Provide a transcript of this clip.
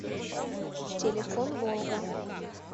телефон волга